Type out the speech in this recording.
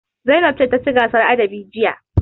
Zainab ce ta ci gasar adabi jiya.